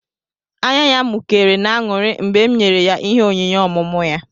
Ányá ya mụkéré n'aṅụrị mgbe m nyèrè ya ịhé onyinye ọmụmụ ya